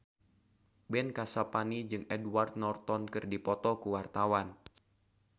Ben Kasyafani jeung Edward Norton keur dipoto ku wartawan